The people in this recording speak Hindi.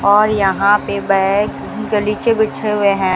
और यहां पे बैग गलीचे बिछे हुए हैं।